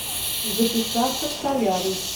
записаться в солярий